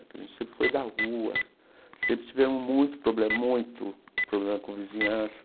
Que a gente sempre foi da rua, sempre tivemos muito problema, muito problema com vizinhança,